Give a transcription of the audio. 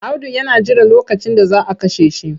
Audu yana jiran lokacin da za a kashe shi.